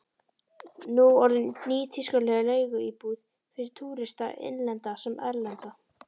Nú orðinn nýtískuleg leiguíbúð fyrir túrista, innlenda sem erlenda.